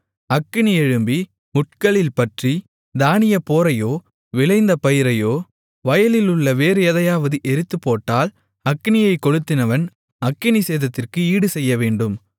அக்கினி எழும்பி முட்களில் பற்றி தானியப்போரையோ விளைந்த பயிரையோ வயலிலுள்ள வேறு எதையாவது எரித்துப்போட்டால் அக்கினியைக் கொளுத்தினவன் அக்கினிச் சேதத்திற்கு ஈடு செய்யவேண்டும்